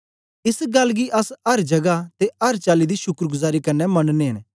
एस गल्ल गी अस अर जगा ते अर चाली दी शुक्रगुजारी कन्ने मनने न